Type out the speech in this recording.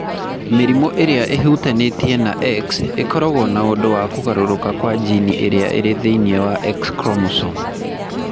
Mĩrimũ ĩrĩa ĩhutanĩtie na X ĩkoragwo na ũndũ wa kũgarũrũka kwa jini ĩrĩa ĩrĩ thĩinĩ wa X chromosome.